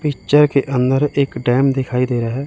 Picture के अंदर एक डैम दिखाई दे रहा है।